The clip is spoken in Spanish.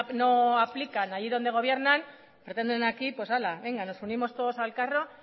no aplican ahí donde gobiernan pretenden aquí nos subimos todos al carro